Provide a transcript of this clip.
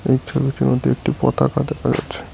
এই ছবিটির মধ্যে একটি পতাকা দেখা যাচ্ছে।